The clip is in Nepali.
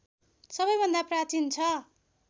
सबैभन्दा प्राचीन छ